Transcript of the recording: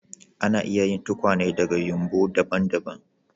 Ana iya yin tukwane daga yumɓu daban-daban.